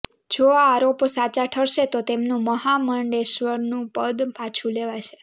જો આ આરોપો સાચા ઠરશે તો તેમનું મહામંડલેશ્વરનું પદ પાછું લેવાશે